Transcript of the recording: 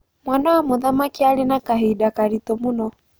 Mwana wa mũthamaki arĩ na kahinda karitũ mũno.